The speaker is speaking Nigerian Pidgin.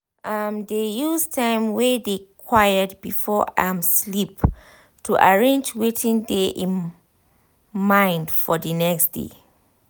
im dey use time wey dey quiet before im sleep to arrange wetin dey im mind for d next day